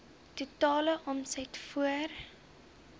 totale omset voor